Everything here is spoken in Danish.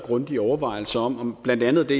grundige overvejelser om blandt andet det